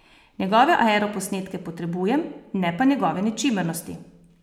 Njegove aeroposnetke potrebujem, ne pa njegove nečimrnosti!